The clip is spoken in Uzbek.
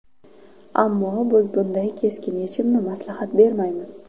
Ammo, biz bunday keskin yechimni maslahat bermaymiz.